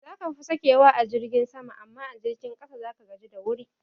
Zaka fi sakewa a jirgin sama amma a jirgin ƙasa zaka gaji da wuri